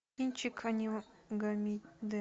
кинчик